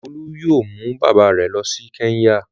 Olú yóò mú bàbá rẹ̀ lọ sí Kẹ́ńyà.